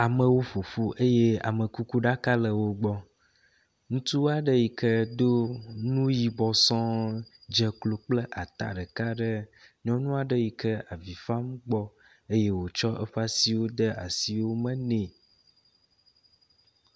Amewo ƒoƒu eye amekukuɖaka le wo gbɔ. Ŋutsu aɖe yi ke do nu yibɔ sɔŋ dze klo kple ata ɖeka ɖe nyɔnu aɖe yi kea vi fam gbɔ eye otsɔ eƒe siwo de asiwo me nɛ.